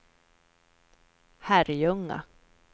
Herrljunga